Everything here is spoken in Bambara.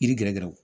Yiri gɛrɛgɛrɛw